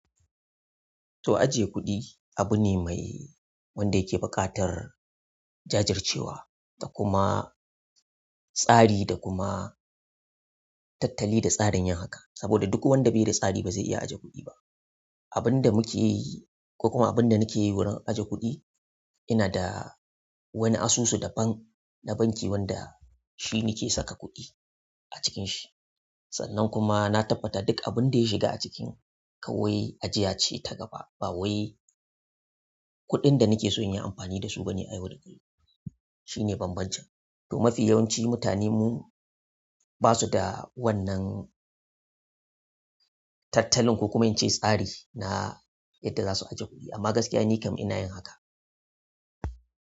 To, ajiye kuɗi abu ne mai wanda yake buƙatar jajircewa, da kuma tsari da kuma tattali da tsarin yin haka. Saboda duk wanda bai da tsari ba zai iya ajiye kuɗi ba. Abunda muke yi, koko abinda nakeyi wurin ajiye kuɗi inada. Wani asusu da ban na banki wanda shi nake saka kuɗi a cikin shi. Sannan kuma na tabbata duk abin da ya shiga a ciki kawai ajiya ce ta gaba. Bawai kuɗin da nakeson inyi amfani dasu bane nayau da kullum. To, mafi yawanci mutane mu basu da wannan tattalin ko kuma in ce tsari na yadda za su ajiye kuɗi. Amma gaskiya nikam ina yin haka.